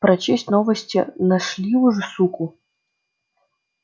прочесть новости нашли уже суку